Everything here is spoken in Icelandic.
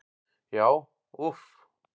Já, úff.